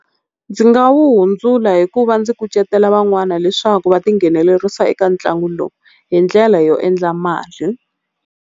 Ndzi nga wu hundzula hikuva ndzi kucetela van'wana leswaku va tinghenelerisa eka ntlangu lowu hi ndlela yo endla mali.